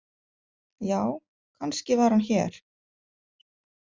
Já, kannski var hann hér.